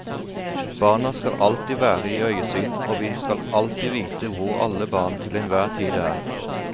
Barna skal alltid være i øyesyn og vi skal alltid vite hvor alle barn til en hver tid er.